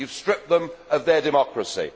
you have stripped them of their democracy.